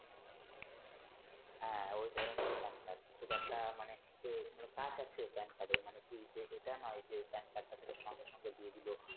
হ্যা ওই ধরণেরই Pan card খুব একটা মানে কাজ আছে Pan card এর মানে কি এটা নয় যে Pan card টা তোকে সঙ্গে সঙ্গে দিয়ে দিলো